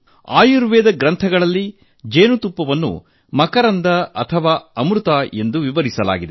ಆಯುರ್ವೇದ ಗ್ರಂಥಗಳಲ್ಲಿ ಜೇನುತುಪ್ಪವನ್ನು ಮಕರಂದ ಅಥವಾ ಸಂಜೀವಿನಿ ಪರಮೌಷಧ ಎಂದು ವಿವರಿಸಲಾಗಿದೆ